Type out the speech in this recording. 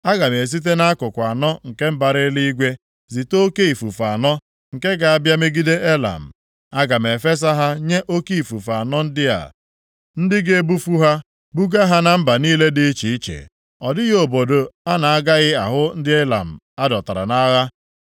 Aga m esite nʼakụkụ anọ nke mbara eluigwe zite oke ifufe anọ, nke ga-abịa megide Elam. Aga m efesa ha nye oke ifufe anọ ndị a, ndị ga-ebufu ha buga ha na mba niile dị iche iche, ọ dịghị obodo a na-agaghị ahụ ndị Ilam a dọtara nʼagha.